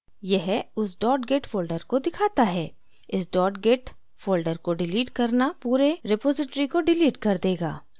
यह उस dot git folder को दिखाता है इस dot git folder को डिलीट करना पूरे repository को डिलीट कर देगा